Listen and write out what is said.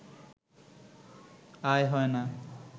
আয় হয় না